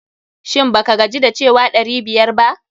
Shin ba ka gaji da cewa ɗari biyar ba?